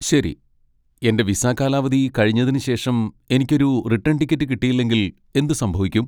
ശരി, എന്റെ വിസ കാലാവധി കഴിഞ്ഞതിന് ശേഷം എനിക്ക് ഒരു റിട്ടേൺ ടിക്കറ്റ് കിട്ടിയില്ലെങ്കിൽ എന്ത് സംഭവിക്കും?